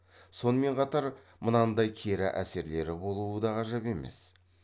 сонымен қатар мынандай кері әсерлері болуы да ғажап емес